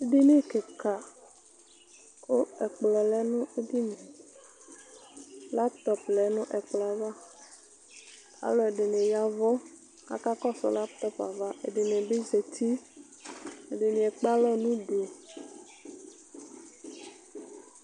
Edini kika ku ɛkplɔ lɛ nu edinie laytɔpi lɛ nu ɛkplɔ ava aluɛdini yavu kakɔsu laytɔp ava ɛdini bi zati ɛdini ekpalɔ nu udu